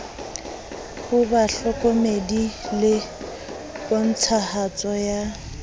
ho bahlokomedi le pontshahatso ya